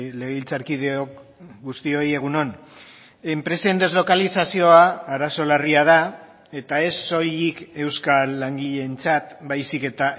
legebiltzarkideok guztioi egun on enpresen deslokalizazioa arazo larria da eta ez soilik euskal langileentzat baizik eta